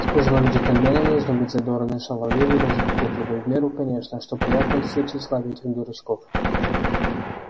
с пожилыми джентльменами нужно быть задорной шаловливой и даже кокетливой в меру конечно что приятно льстит тщеславию этих дурачков